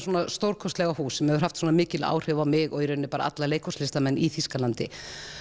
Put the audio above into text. stórkostlega hús sem hefur haft svona mikil áhrif á mig og í raunini alla leikhússlistamenn í Þýskalandi